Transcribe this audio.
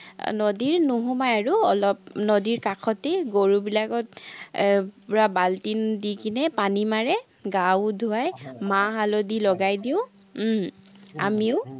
নদীৰ নোসোমাই আৰু, অলপ নদীৰ কাষতে গৰুবিলাকক এৰ পুৰা বাল্টি দি কেনে পানী মাৰে, গাও ধুৱায়, মা-হালধি লগাই দিওঁ, উম আমিও